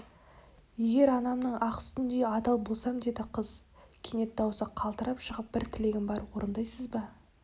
егер анамның ақ сүтіндей адал болсам деді қыз кенет даусы қалтырап шығып бір тілегім бар орындайсыз ба